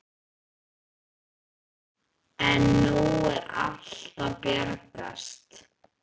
En nú er allt að bjargast.